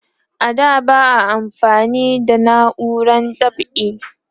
a da ba a amfani da nauran dab'i